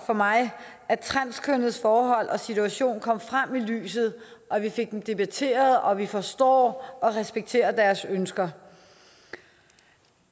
for mig at transkønnedes forhold og situation kom frem i lyset at vi fik det debatteret og at vi forstår og respekterer deres ønsker